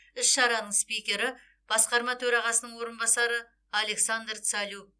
іс шараның спикері басқарма төрағасының орынбасары александр цалю